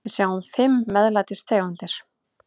Við sjáum fimm MEÐLÆTIS tegundir.